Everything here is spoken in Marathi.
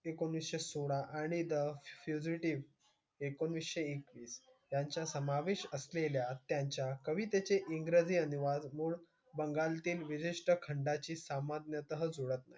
एकोणीसशे सोळा, आणि the fugitive एकोणीसशे एकवीस यांचा समावेश असलेल्या त्यांच्या कवितेचे इंग्रजी अनुवाद मूळ बंगालातील विशिष्ट खंडाची सामान्यतः जुळत नाही.